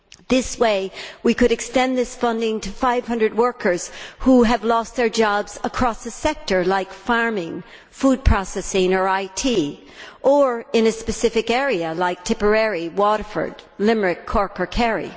This way, we could extend this funding to 500 workers who have lost their jobs across a sector like farming, food processing or IT, or in a specific area, like Tipperary, Waterford, Limerick, Cork or Kerry.